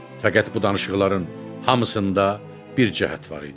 Fəqət bu danışıqların hamısında bir cəhət var idi.